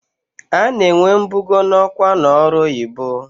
A na-enwe mbugo n'ọkwa n'ọrụ oyibo.